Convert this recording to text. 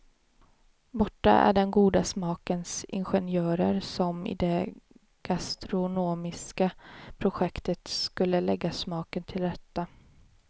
Borta är den goda smakens ingenjörer som i det gastronomiska projektet skulle lägga smaken till rätta.